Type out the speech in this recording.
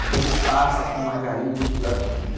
Então ele passa com margarina misturada.